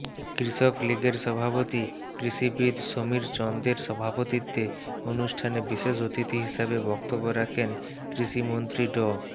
কৃষক লীগের সভাপতি কৃষিবিদ সমীর চন্দের সভাপতিত্বে অনুষ্ঠানে বিশেষ অতিথি হিসেবে বক্তব্য রাখেন কৃষিমন্ত্রী ড